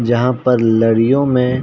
यहाँ पर लरियों मे --